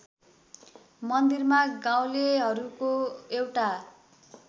मन्दिरमा गाउँलेहरूको एउटा